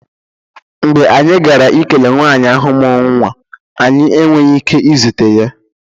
Mgbe anyị gara ikele nwanyị ahụ mụrụ nwa, anyị enweghị ike izute ya